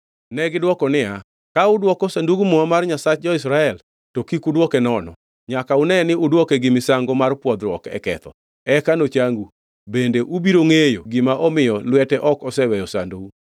Negidwoko niya, “Ka udwoko Sandug Muma mar Nyasach jo-Israel, to kik udwoke nono, nyaka une ni udwoke gi misango mar pwodhruok e ketho, eka nochangu, bende ubiro ngʼeyo gima omiyo lwete ok oseweyo sandou.”